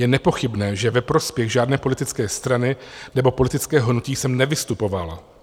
Je nepochybné, že ve prospěch žádné politické strany nebo politického hnutí jsem nevystupoval.